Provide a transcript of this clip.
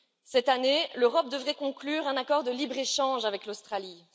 Cette année, l'Europe devrait conclure un accord de libre échange avec l'Australie.